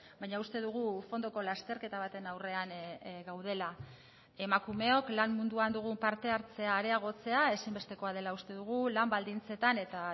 baina uste dugu fondoko lasterketa baten aurrean gaudela emakumeok lan munduan dugun parte hartzea areagotzea ezinbestekoa dela uste dugu lan baldintzetan eta